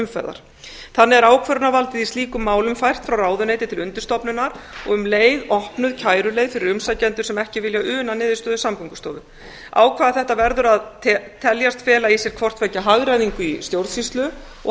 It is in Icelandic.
umferðar þannig er ákvörðunarvaldið í slíkum málum fært frá ráðuneyti til undirstofnunar og um leið opnuð kæruleið fyrir umsækjendur sem ekki vilja una niðurstöðu samgöngustofu ákvæði þetta verður að teljast fela í sér hvort tveggja hagræðingu í stjórnsýslu og